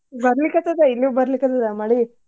ಬರ್ಲಿಕತ್ತದ ಇಲ್ಲೂ ಬರ್ಲಿಕತ್ತದ ಮಳಿ.